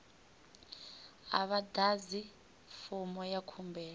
a vha ḓadzi fomo ya khumbelo